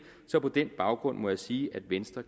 så på den baggrund må jeg sige at venstre